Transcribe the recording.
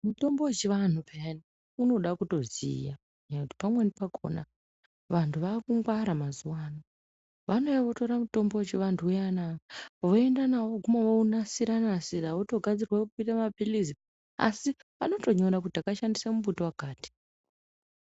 Mutombo wechivantu piyani unoda kuziya ngekuti pamweni pakona vantu vakungwara mazuva ano vanouya votora mutombo wechivantu voenda kundonasira nasira votogadzira kutoita mapirizi asi vanotonyora kuti tashandisa muti wakati.